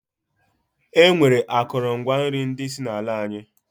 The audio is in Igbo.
E nwere akụlụ ngwa nri ndi si na ala anyi.